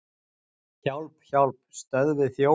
Hjálp, hjálp, stöðvið þjófinn!